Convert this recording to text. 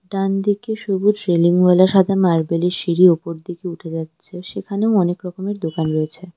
ডানদিকে সবুজ রেলিংবালা সাদা মার্বেলের সিঁড়ি ওপর দিকে উঠে যাচ্ছে সেখানেও অনেক রকমের দোকান রয়েছে।